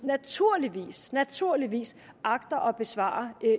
naturligvis naturligvis agter at besvare